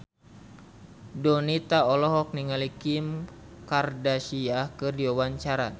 Donita olohok ningali Kim Kardashian keur diwawancara